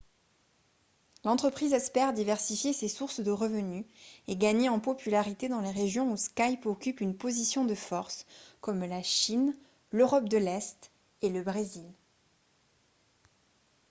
l'entreprise espère diversifier ses sources de revenus et gagner en popularité dans les régions où skype occupe une position de force comme la chine l'europe de l'est et le brésil